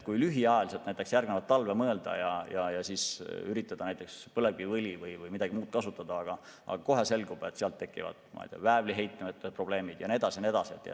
Kui lühiajaliselt ette, näiteks järgmise talve peale mõelda ja üritada näiteks põlevkiviõli või midagi muud kasutada, siis kohe selgub, et seal tekivad väävliheitmete probleemid ja nii edasi ja nii edasi.